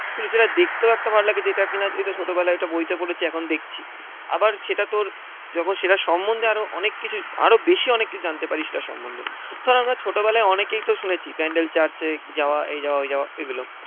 শুধুই সেটা দেখতে একটা ভালো লাগে যেটা কিনা এটা ছোটবেলার একটা বইতে পড়েছি এখন দেখছি। আবার সেটা তোর যখন সেটা সম্বন্ধে আরো অনেক কিছু আরও বেশি অনেক কিছু জানতে পারি সেটার সম্বন্ধে। ধর আমরা ছোটবেলায় অনেকেই তো শুনেছি ব্যান্ডেল চার্চে যাওয়া এই যাওয়া ওই যাওয়া এইগুলো।